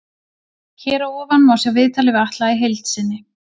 Hér að ofan má sjá viðtalið við Atla í heild sinni.